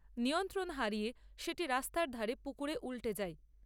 নিয়ন্ত্রণ হারিয়ে সেটি রাস্তার ধারে পুকুরে উল্টে যায়।